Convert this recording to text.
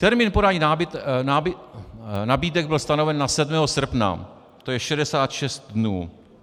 Termín podání nabídek byl stanoven na 7. srpna, to je 66 dnů.